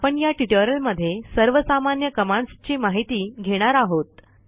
आपण या ट्युटोरियलमध्ये सर्वसामान्य कमांडस् ची माहिती घेणार आहोत